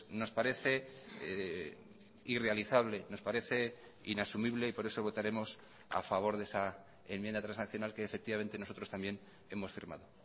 nos parece irrealizable nos parece inasumible y por eso votaremos a favor de esa enmienda transaccional que efectivamente nosotros también hemos firmado